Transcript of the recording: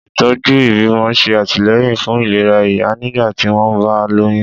Ìtọ́jú ìbímọ ń ṣe àtìlẹ́yìn fún ìlera ìyá nígbà tí wọ́n bá lóyún.